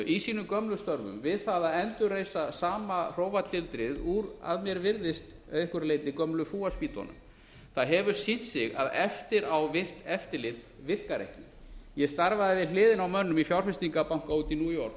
í sínum gömlu störfum við það að endurreisa sama hrófatildrið úr að mér virðist einhverju leyti gömlu fúaspýtunum það hefur sýnt sig að eftirá virkt eftirlit virkar ekki ég starfaði við hliðina á mönnum í fjárfestingarbanka úti í new